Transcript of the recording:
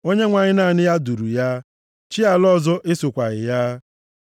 Onyenwe anyị naanị ya duru ya, chi ala ọzọ esokwaghị ya.